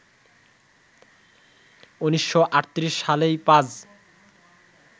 ১৯৩৮ সালেই পাজ